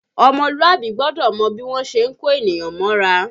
Ọmọlúàbí gbọ́dọ̀ mọ bí wọ́n ṣe ń kó ènìyàn mọ́ra